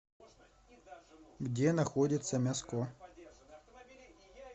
где находится мяско